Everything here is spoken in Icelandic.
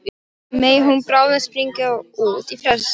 Megi hún bráðum springa út í frelsið.